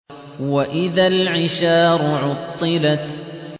وَإِذَا الْعِشَارُ عُطِّلَتْ